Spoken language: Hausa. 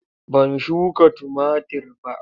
Ban shuka tumatir ba.